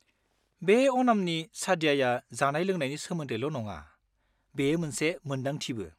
बे अनामनि सादयाया जानाय-लोंनायनि सोमोन्दैल' नङा, बेयो मोनसे मोनदांथिबो।